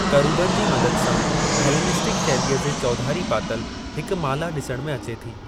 करूबनि जी मदद सां हेलेनिस्टिक शैलीअ जे चौधरी पातल हिक मला ॾिसण में अचे थी।